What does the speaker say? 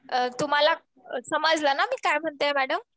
तुम्हाला समजलं ना मी काय म्हणतीये मॅडम.